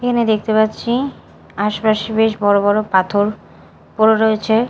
এখানে দেখতে পাচ্ছি আশপাশে বেশ বড় বড় পাথর পড়ে রয়েছে।